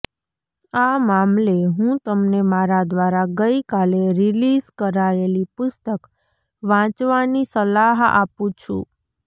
આ મામલે હું તમને મારા દ્વારા ગઈ કાલે રિલીઝ કરાયેલી પુસ્તક વાંચવાની સલાહ આપું છું